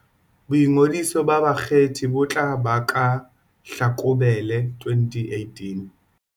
Boingodiso ba bakgethi bo tla ba ka Hlakubele 2018.